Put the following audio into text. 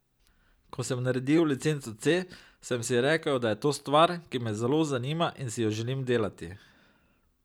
Ko sem naredil licenco C, sem si rekel, da je to stvar, ki me zelo zanima in si jo želim delati.